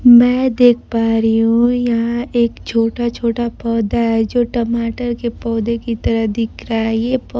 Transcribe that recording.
मैं देख पा रही हूं। यहां एक छोटा छोटा पौधा है जो टमाटर के पौधे की तरह दिख रहा है ये पौ--